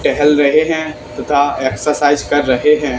टहल रहे हैं तथा एक्सरसाइज कर रहे हैं।